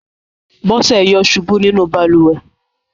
Bọ́sẹ̀ yọ̀ ṣubú nínú balùwẹ̀.